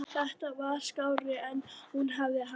Þetta var skárra en hún hafði haldið.